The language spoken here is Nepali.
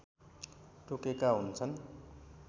तोकेका हुन्छन्